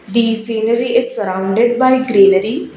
the scenery is surrounded by greenary.